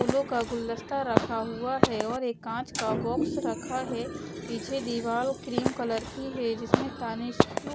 फूलों का गुलदस्ता रखा हुआ है और एक कांच का बॉक्स रखा है पीछे दीवार क्रीम कलर की है जिसमें तनिष्क --